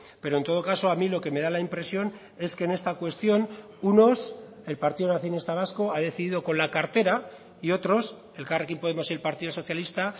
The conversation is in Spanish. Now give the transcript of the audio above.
pero en todo caso a mí lo que me da la impresión es que en esta cuestión unos el partido nacionalista vasco ha decidido con la cartera y otros elkarrekin podemos y el partido socialista